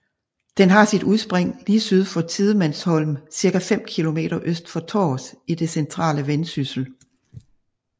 Den har sit udspring lige syd for Tidemandsholm cirka 5 kilometer øst for Tårs i det centrale Vendsyssel